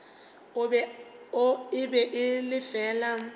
e be e le fela